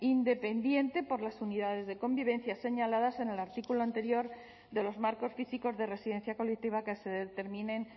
independiente por las unidades de convivencia señaladas en el artículo anterior de los marcos físicos de residencia colectiva que se determinen